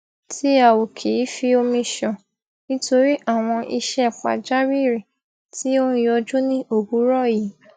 tí a ò kì í fi omi ṣàn nítorí àwọn iṣẹ pàjàwírì tí ó n yọjú ní òwúrọ yìí